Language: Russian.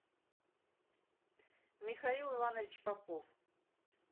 михаил иванович попов